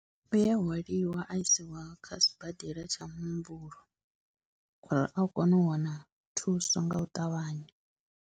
U ya hwaliwa a isiwa kha sibadela tsha muhumbulo uri a kone u wana thuso nga u ṱavhanya.